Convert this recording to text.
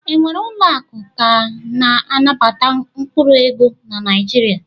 E nwere ụlọakụ ka na-anabata mkpụrụ ego na Naijiria?